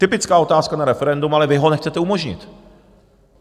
Typická otázka na referendum, ale vy ho nechcete umožnit.